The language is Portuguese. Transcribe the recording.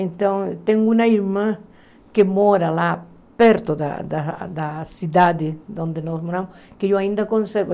Então, tenho uma irmã que mora lá perto da da da cidade onde nós moramos, que eu ainda conservo.